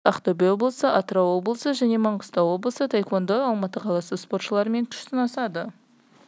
тобы жамбыл облысы ақтөбе облысы атырау облысы және маңғыстау облысы таеквондодан алматы қаласы спортшыларымен күш сынасады